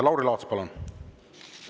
Lauri Laats, palun!